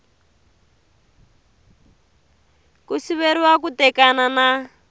ku siveriwa ku tekana na